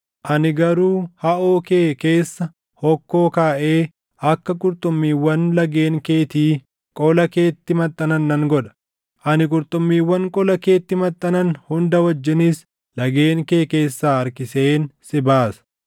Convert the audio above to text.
Ani garuu haʼoo kee keessa hokkoo kaaʼee akka qurxummiiwwan lageen keetii qola keetti maxxanan nan godha. Ani qurxummiiwwan qola keetti maxxanan hunda wajjinis lageen kee keessaa harkiseen si baasa.